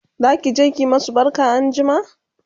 zakije ki masu barka anjima?